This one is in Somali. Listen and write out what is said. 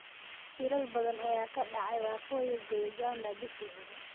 Shilal badan ayaa ka dhacay Waqooyiga Uganda bishii hore.